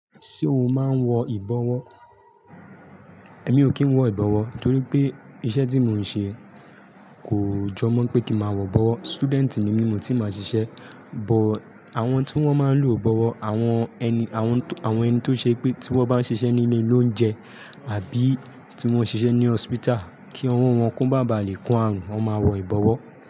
Ṣé o máa ń wọ ìbọwọ́? Èmi ò kí ń wọ ìbọwọ́ torí pé iṣẹ́ tí mò ń ṣe kò jọ mọ̀ pé kí màá wọ ìbọwọ́. Student ni mí, mi o ti máa ṣiṣẹ́. But àwọn tí wọ́n máa ń lo ìbọwọ́, àwọn ẹni, àwọn eni tó ṣe pé tí wọ́n bá ṣiṣẹ́ ní ilé olounjẹ àbí tí wọ́n ṣiṣẹ́ ní hospital kí ọwọ́ wọn ko maa bà lè kó àrùn, wọ́n máa n wọ ìbọwọ́.